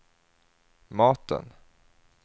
maten